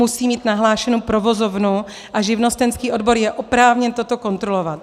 Musí mít nahlášenu provozovnu a živnostenský odbor je oprávněn toto kontrolovat.